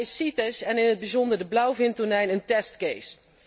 Voor mij is CITES en in het bijzonder de blauwvintonijn een testcase